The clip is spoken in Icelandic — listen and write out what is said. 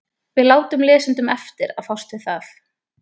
Við látum lesendum eftir að fást við það.